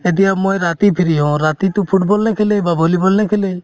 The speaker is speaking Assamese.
এতিয়া মই ৰাতি free হওঁ ৰাতিতো football নেখেলে বা volleyball নেখেলে